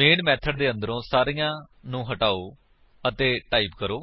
main method ਦੇ ਅੰਦਰੋਂ ਸਾਰੀਆਂ ਨੂੰ ਹਟਾਓ ਅਤੇ ਟਾਈਪ ਕਰੋ